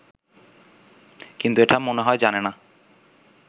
কিন্তু এটা মনে হয় জানে না